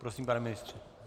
Prosím, pane ministře.